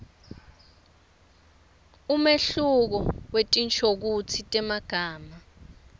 umehluko wetinshokutsi temagama